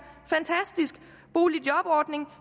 fantastisk boligjobordning